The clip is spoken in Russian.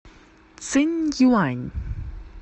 цинъюань